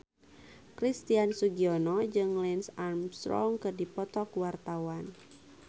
Christian Sugiono jeung Lance Armstrong keur dipoto ku wartawan